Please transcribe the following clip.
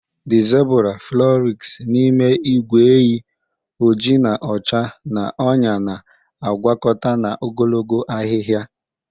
The zebura frolics n'ime ìgwè ehi, oji na ọcha n'ọnyá na-agwakọta na ogologo ahihia.